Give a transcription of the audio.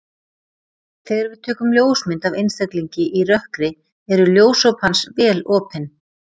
Þegar við tökum ljósmynd af einstaklingi í rökkri eru ljósop hans vel opin.